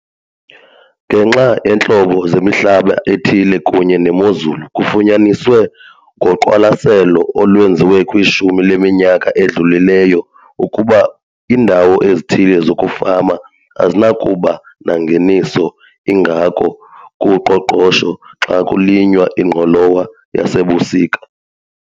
Ngenxa yeentlobo zemihlaba ethile kunye nemozulu kufunyaniswe ngoqwalaselo olwenziwe kwishumi leminyaka edlulileyo ukuba iindawo ezithile zokufama azinakuba nangeniso ingako kuqoqosho xa kulinywa ingqolowa yasebusika.